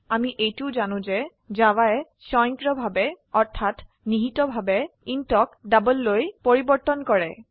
আমি এইটোও জানো যে জাভায়ে স্বয়ংক্ৰিয়ভাবে অৰ্থাৎ নিহিতভাবে ইণ্ট ক doubleলৈ পেৰিবৰ্তন কৰে